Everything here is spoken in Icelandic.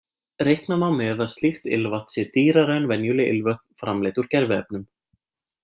Reikna má með að slíkt ilmvatn sé dýrara en venjuleg ilmvötn framleidd úr gerviefnum.